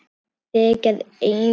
Þegir enn.